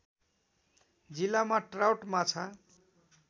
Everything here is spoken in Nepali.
जिल्लामा ट्राउट माछा